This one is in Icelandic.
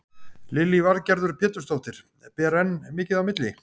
Lillý Valgerður Pétursdóttir: Ber enn mikið á milli?